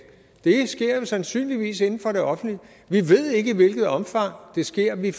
det sker jo sandsynligvis inden for det offentlige vi ved ikke i hvilket omfang det sker og vi